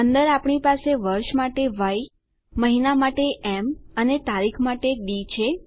અંદર આપણી પાસે વર્ષ માટે ય મહિના માટે એમ અને તારીખ માટે ડી છે